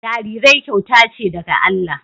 Jarirai kyauta ce daga Allah